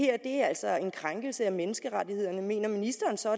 det her altså er en krænkelse af menneskerettighederne mener ministeren så